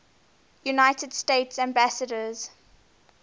united states ambassadors